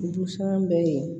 Busan bɛ ye